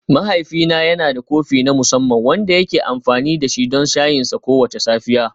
Mahaifina yana da kofi na musamman wanda yake amfani da shi don shayinsa kowace safiya.